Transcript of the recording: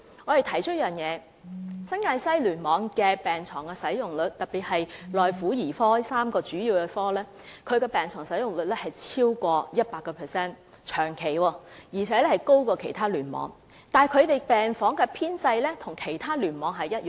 我們提出一點，便是新界西醫院聯網的病床使用率長期超過 100%， 而且高於其他醫院聯網，但病房人員的編制與其他醫院聯網的一樣。